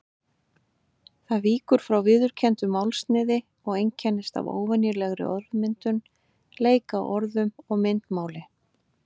Það víkur frá viðurkenndu málsniði og einkennist af óvenjulegri orðmyndun, leik að orðum og myndmáli.